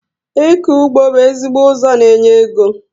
Ịkọ ụgbọ bú ezigbo ụzọ n'enye égo